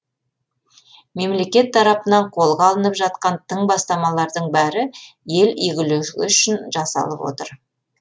мемлекет тарапынан қолға алынып жатқан тың бастамалардың бәрі ел игілігі үшін жасалып отыр